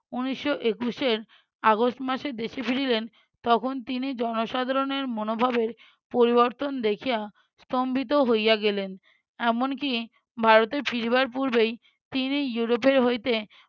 উনিশশো একুশের আগস্ট মাসে দেশে ফিরিলেন তখন তিনি জনসাধারণের মনোভাবের পরিবর্তন দেখিয়া স্তম্ভিত হইয়া গেলেন। এমনকি ভারতে ফিরবার পূর্বে ইউরোপ হইতে